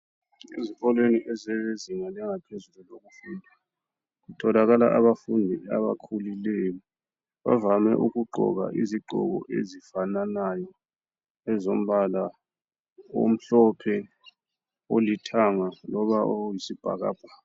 Ezikolweni ezezinga langaphezulu. Kutholakala abafundi abakhulileyo. Bavame ukugqoka izigqoko ezifananayo. Ezombala omhlophe, olithanga, loba oyisibhakabhaka.